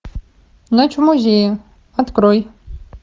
ночь в музее открой